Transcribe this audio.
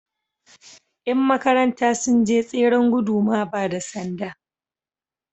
Yan makaranta sun je tseren guduma ba da Sanda.